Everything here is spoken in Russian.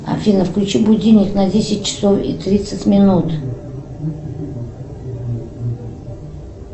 афина включи будильник на десять часов и тридцать минут